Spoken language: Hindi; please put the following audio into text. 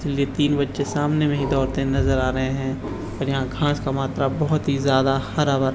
तीन बच्चे सामने में ही दौड़ते हुए नज़र आ रहे हैं और यहाँ घास का मात्रा बहुत ही ज्यादा हरा भरा--